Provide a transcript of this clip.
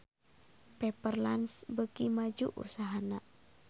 Pepper Lunch beuki maju usahana